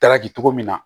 Dalaki cogo min na